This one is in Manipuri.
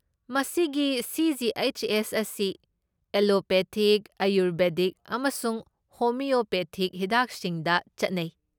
ꯃꯁꯤꯒꯤ ꯁꯤ.ꯖꯤ.ꯑꯩꯆ.ꯑꯦꯁ. ꯑꯁꯤ ꯑꯦꯂꯣꯄꯦꯊꯤꯛ, ꯑꯥꯌꯨꯔꯕꯦꯗꯤꯛ, ꯑꯃꯁꯨꯡ ꯍꯣꯃꯤꯑꯣꯄꯦꯊꯤꯛ ꯍꯤꯗꯥꯛꯁꯤꯡꯗ ꯆꯠꯅꯩ ꯫